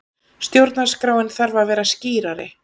Stjórnarskráin þarf að vera skýrari